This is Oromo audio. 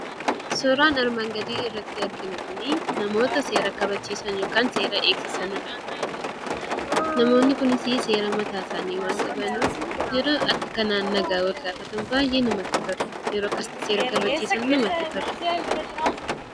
Suuraan armaan gadii irratti arginu kuni namoota seera kabachiisan yookaan seera eegsisanidha. Namoonni kunis seera mataa isaanii waan qabaniif, yeroo akka kanaan nagaa wal gaafatan baay'ee namatti tolu!. Yeroo akkasitti seera kabachiisan namatti tolu!